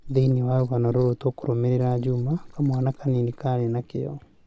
Thĩinĩ wa rũgano rũrũ, tũkũrũmĩrĩra Juma, kamwana kanini kaarĩ na kĩyo.